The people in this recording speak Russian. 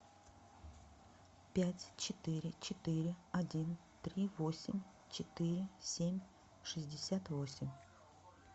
пять четыре четыре один три восемь четыре семь шестьдесят восемь